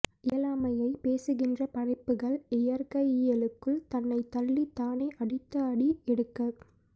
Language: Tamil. இயலாமையை பேசுகின்ற படைப்புகள் இயற்கையியலுக்குள் தன்னை தள்ளி தானே அடுத்த அடி எடுக்க